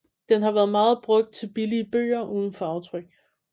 Den har været meget brugt til billige bøger uden farvetryk